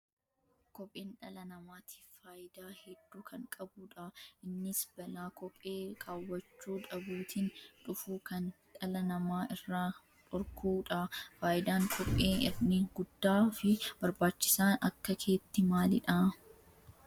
Kopheen dhala namaatiif fayyidaa hedduu kan qabuu dha. Innis balaa kophee kaawwachuu dhabuutiin dhufu kan dhala namaa irraa dhorkuu dha. Faayidaan kophee inni guddaa fi barbaachisaan akka keetti maalii dha?